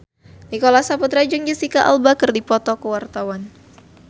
Nicholas Saputra jeung Jesicca Alba keur dipoto ku wartawan